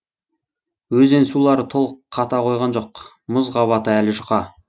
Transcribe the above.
өзен сулары толық қата қойған жоқ мұз қабаты әлі жұқа